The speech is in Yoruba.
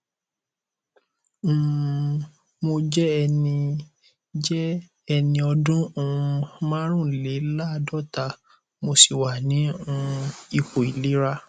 um mo jẹ ẹni jẹ ẹni ọdún um márùnléláàádọta mo sì wà ní um ipò ìlera